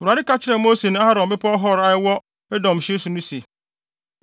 Awurade ka kyerɛɛ Mose ne Aaron wɔ Bepɔw Hor a ɛwɔ Edom hye so no se,